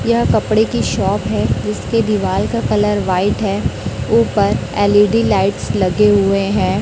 यह कपड़े की शॉप है जिसके दीवाल का कलर व्हाइट है ऊपर एल_ई_डी लाइट्स लगे हुए हैं।